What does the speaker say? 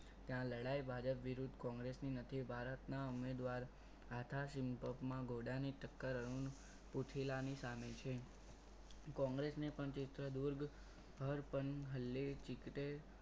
ત્યાં લડાઈ ભાજપ વિરુદ્ધ કોંગ્રેસ થી નથી ભારતના ઉમેદવાર આવતા આથા સિંપથમાં ઘોડાની ટક્કર અરુણ પુથિલાની સામે છે કોંગ્રેસને પણ ક્ષેત્ર દૂર હર પલ હલ્લે ચિક્તે